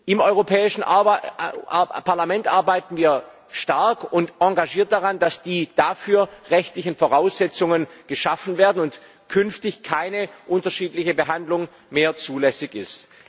Im Europäischen Parlament arbeiten wir stark und engagiert daran, dass die rechtlichen Voraussetzungen dafür geschaffen werden und künftig keine unterschiedliche Behandlung mehr zulässig ist.